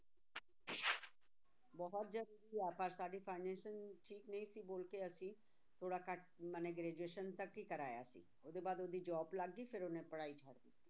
ਬਹੁਤ ਜ਼ਰੂਰੀ ਆ ਪਰ ਸਾਡੀ financial ਠੀਕ ਨਹੀਂ ਸੀ ਬੋਲ ਕੇ ਅਸੀਂ ਥੋੜ੍ਹਾ ਘੱਟ ਮਨੇ graduation ਤੱਕ ਹੀ ਕਰਾਇਆ ਸੀ, ਉਹਦੇ ਬਾਅਦ ਉਹਦੀ job ਲੱਗ ਗਈ ਫਿਰ ਉਹਨੇ ਪੜ੍ਹਾਈ ਛੱਡ ਦਿੱਤੀ